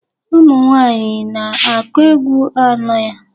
Ụmụ nwaanyị na-akụ egwu anọ ya?